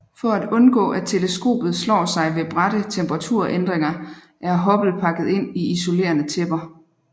For at undgå at teleskopet slår sig ved bratte temperaturændringer er Hubble pakket ind i isolerende tæpper